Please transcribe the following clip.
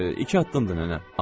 İki addımdır, nənə.